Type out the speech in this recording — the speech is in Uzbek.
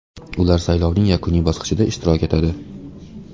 Ular saylovning yakuniy bosqichida ishtirok etadi.